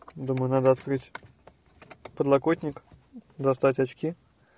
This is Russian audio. думаю надо открыть подлокотник достать очки